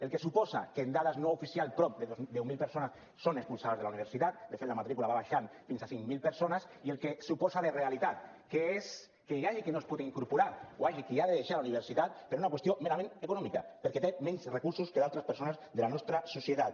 el que suposa que amb dades no oficials prop de deu mil persones són expulsades de la universitat de fet la matrícula va baixant fins a cinc mil persones i el que suposa de realitat que és que hi hagi qui no es pot incorporar o hi hagi qui ha de deixar la universitat per una qüestió merament econòmica perquè té menys recursos que altres persones de la nostra societat